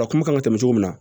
A kuma kan ka tɛmɛ cogo min na